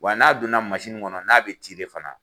Wa n'a donna kɔnɔ n'a bi fana